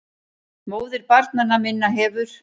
MÓÐIR BARNANNA MINNA HEFUR